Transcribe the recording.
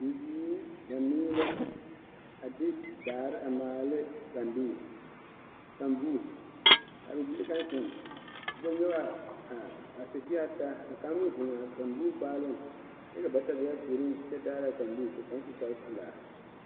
Bibiiri banuu la a de daare a maala ne kandoo kanboo ka a bibile kaŋ zeŋ kyɛ nyɔge a a sitie taa kaŋ meŋ zeŋ a kanboo gbaaleŋ kyɛ ka bata be a puoriŋ kyɛ daara a kamboo ka kaŋ su kparepelaa.